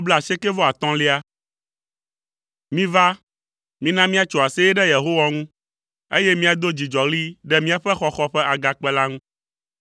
Miva, mina míatso aseye ɖe Yehowa ŋu, eye míado dzidzɔɣli ɖe míaƒe xɔxɔ ƒe Agakpe la ŋu.